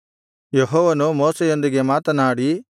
ಯೆಹೋವನು ಮೋಶೆಯೊಂದಿಗೆ ಮಾತನಾಡಿ